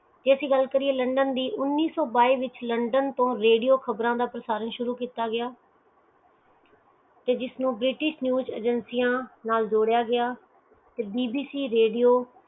ਜੇ ਅਸੀਂ ਗੱਲ ਕਰੀਏ ਲੰਡਨ ਦੀ ਉਨੀਸੋ ਬਾਇਸ ਵਿਚ ਰੇਡੀਓ ਖ਼ਬਰ ਦਾ ਪ੍ਰਸਾਰਣ ਸ਼ੁਰੂ ਕੀਤਾ ਗਿਆ ਤੇ ਜਿਸ ਨੂੰ ਬ੍ਰਿਟਿਸ਼ ਚੀਜ਼ ਏਜੇਂਸੀ ਨਾਲ ਜੋੜਿਆ ਗਿਆ